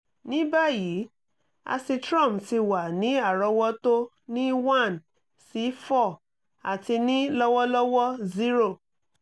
ní báyìí acitrom ti wà ní àrọ́wọ́tó ní one sí four àti ní lọ́wọ́lọ́wọ́ zero